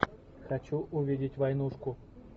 хочу увидеть войнушку